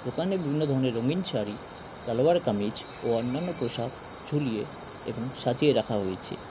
দোকানে বিভিন্ন ধরনের রঙিন শাড়ি সালোয়ার কামিজ ও অন্যান্য পোশাক ঝুলিয়ে এবং সাজিয়ে রাখা হয়েছে।